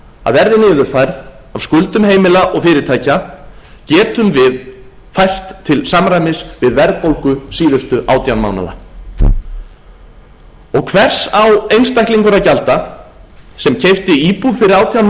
að verði niðurfærð af skuldum heimila og fyrirtækja getum við fært til samræmis við verðbólgu síðustu átján mánaða hvers á einstaklingur að gjalda sem keypti íbúð fyrir átján